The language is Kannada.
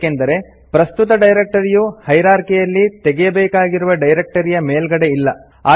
ಏಕೆಂದರೆ ಪ್ರಸ್ತುತ ಡೈರೆಕ್ಟರಿಯು ಹೈರಾರ್ಕಿಯಲ್ಲಿ ತೆಗೆಯಬೇಕಾಗಿರುವ ಡೈರೆಕ್ಟರಿಯ ಮೇಲ್ಗಡೆ ಇಲ್ಲ